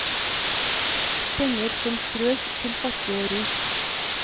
Penger som strøs til fattig og rik.